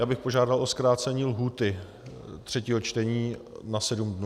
Já bych požádal o zkrácení lhůty třetího čtení na sedm dnů.